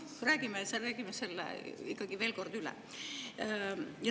Räägime selle ikkagi veel kord üle.